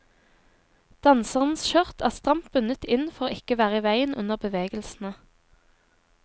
Danserens skjørt er stramt bundet inn for ikke å være i veien under bevegelsene.